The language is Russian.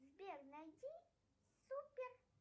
сбер найди супер